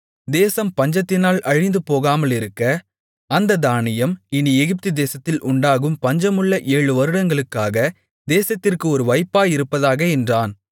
தேசம் பஞ்சத்தினால் அழிந்துபோகாமலிருக்க அந்தத் தானியம் இனி எகிப்துதேசத்தில் உண்டாகும் பஞ்சமுள்ள ஏழு வருடங்களுக்காக தேசத்திற்கு ஒரு வைப்பாயிருப்பதாக என்றான்